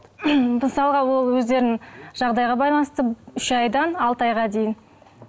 мысалға ол өздерінің жағдайға байланысты үш айдан алты айға дейін